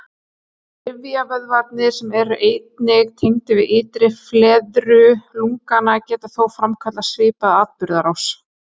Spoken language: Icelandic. Rifjavöðvarnir, sem eru einnig tengdir við ytri fleiðru lungnanna, geta þó framkallað svipaða atburðarás.